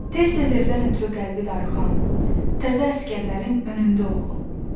Tez-tez evdən ötrü qəlbi darıxan, təzə əsgərlərin önündə oxu.